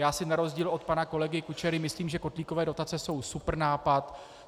Já si na rozdíl od pana kolegy Kučery myslím, že kotlíkové dotace jsou super nápad.